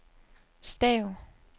stav